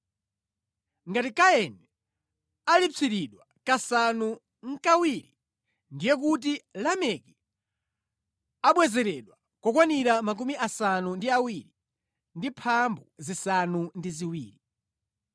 Ngati wopha Kaini amulipsira kasanu nʼkawiri, ndiye kuti wopha ine Lameki adzamulipsira kokwanira 77.”